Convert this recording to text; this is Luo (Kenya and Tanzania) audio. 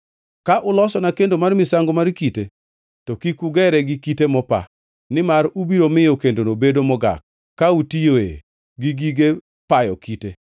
Ka ulosona kendo mar misango mar kite, to kik ugere gi kite mopa, nimar ubiro miyo kendono bedo mogak ka utiyoe gi gige payo kite.